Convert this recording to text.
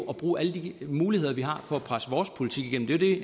bruge alle de muligheder vi har for at presse vores politik igennem det